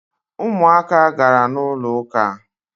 Umuaka gara n’ụlọụka